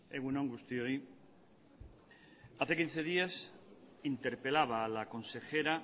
egun on guztioi hace quince días interpelaba a la consejera